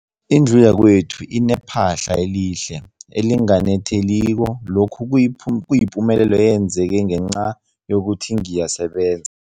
Indlu yakwethu inephahla elihle, elinganetheliko, lokhu kuyipumelelo eyenzeke ngenca yokuthi ngiyasebenza.